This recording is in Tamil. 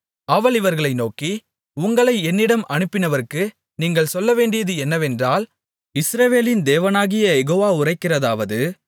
அவள் இவர்களை நோக்கி உங்களை என்னிடம் அனுப்பினவருக்கு நீங்கள் சொல்லவேண்டியது என்னவென்றால் இஸ்ரவேலின் தேவனாகிய யெகோவா உரைக்கிறதாவது